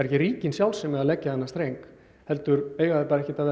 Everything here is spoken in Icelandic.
ekki ríkin sjálf sem eiga að leggja þennan streng heldur eiga þau ekki að